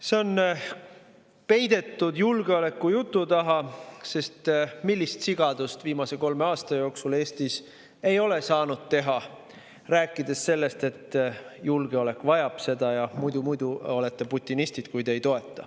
See on peidetud julgeolekujutu taha, sest millist sigadust viimase kolme aasta jooksul ei ole Eestis saanud teha, kui räägid sellest, et julgeolek vajab seda ja muidu, kui te ei toeta, olete putinistid.